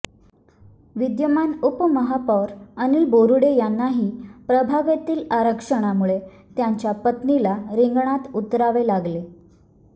विद्यमान उपमहापौर अनिल बोरुडे यांनाही प्रभागातील आरक्षणामुळे त्यांच्या पत्नीला रिंगणात उतरावे लागले